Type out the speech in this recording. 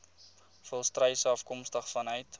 volstruise afkomstig vanuit